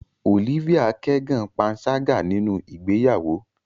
Olivia kẹgan panṣaga ninu igbeyawo